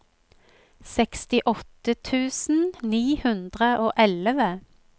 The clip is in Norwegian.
sekstiåtte tusen ni hundre og elleve